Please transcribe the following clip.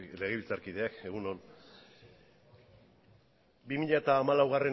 legebiltzarkideok egun on bi mila hamalaugarrena